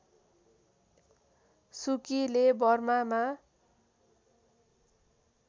सुकीले बर्मामा